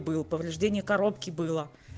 блять повреждение коробке было